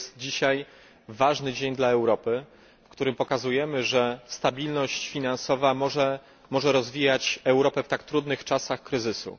To jest dzisiaj ważny dzień dla Europy, w którym pokazujemy, że stabilność finansowa może rozwijać Europę w tak trudnych czasach kryzysu.